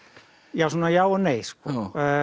já svona já og nei sko